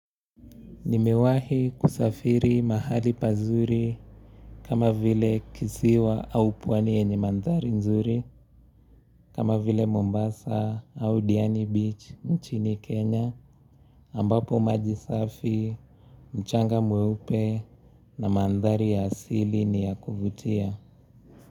Nimewahi kusafiri mahali pazuri kama vile kisiwa au pwani yenye mandhari nzuri kama vile Mombasa au Diani Beach nchini Kenya ambapo maji safi, mchanga mweupe na mandhari ya asili ni ya kuvutia.